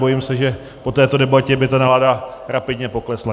Bojím se, že po této debatě by ta nálada rapidně poklesla.